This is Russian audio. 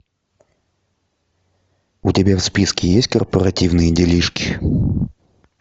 у тебя в списке есть корпоративные делишки